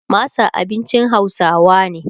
masa abincin hausawa ne